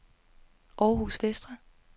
Århus Vestre